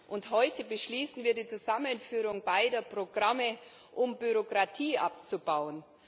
Und heute beschließen wir die Zusammenführung beider Programme, um Bürokratie abzubauen.